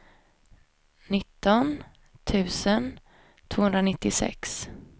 nitton tusen tvåhundranittiosex